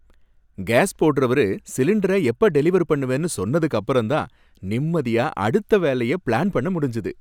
Case போடறவரு சிலிண்டர எப்போ டெலிவர் பண்ணுவேன்னு சொன்னதுக்கபறம்தான் நிம்மதியா அடுத்த வேலைய பிளான் பண்ண முடிஞ்சுது.